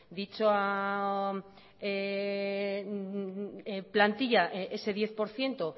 dicha plantilla ese diez por ciento